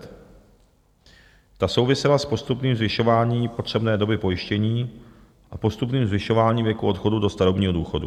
Ta souvisela s postupným zvyšováním potřebné doby pojištění a postupným zvyšováním věku odchodu do starobního důchodu."